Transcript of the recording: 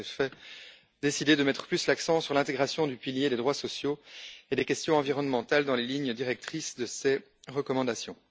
Elle a, en effet, décidé de mettre plus l'accent sur l'intégration du pilier des droits sociaux et des questions environnementales dans les lignes directrices de ses recommandations.